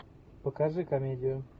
покажи комедию